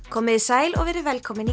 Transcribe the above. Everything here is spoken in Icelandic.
komiði sæl og verið velkomin